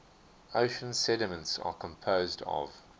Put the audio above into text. ocean sediments are composed of